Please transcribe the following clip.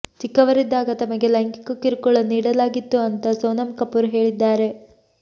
ಚಿಕ್ಕವರಿದ್ದಾಗ ತಮಗೆ ಲೈಂಗಿಕ ಕಿರುಕುಳ ನೀಡಲಾಗಿತ್ತು ಅಂತಾ ಸೋನಂ ಕಪೂರ್ ಹೇಳಿದ್ದಾರೆ